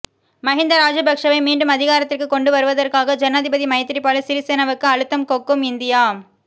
மஹிந்த ராஜபக்சவை மீண்டும் அதிகாரத்திற்கு கொண்டு வருவதாற்காக ஜனாதிபதி மைத்திரிபால சிறிசேனவுக்கு அழுத்தம் கொக்கும் இந்தியா